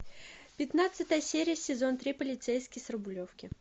пятнадцатая серия сезон три полицейский с рублевки